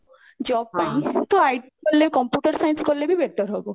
job ପାଇଁ ତ IT କଲେ computer science କଲେ ବି better ହବ